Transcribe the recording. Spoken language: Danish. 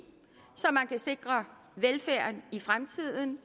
så man kan sikre velfærden i fremtiden